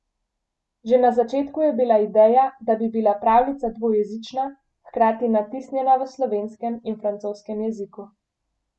Že na začetku je bila ideja, da bi bila pravljica dvojezična, hkrati natisnjena v slovenskem in francoskem jeziku.